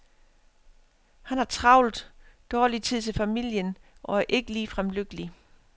Han har travlt, dårlig tid til familien og er ikke ligefrem lykkelig.